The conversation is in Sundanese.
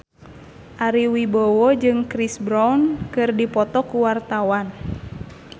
Ari Wibowo jeung Chris Brown keur dipoto ku wartawan